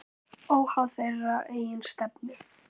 Óháð þeirra eigin stefnu.